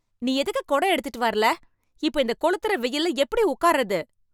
நீ எதுக்கு கொடை எடுத்துட்டு வரல? இப்ப இந்தக் கொளுத்துற வெயில்ல எப்படி உக்கார்றது ?